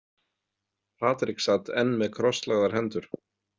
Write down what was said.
Patrik sat enn með krosslagðar hendur.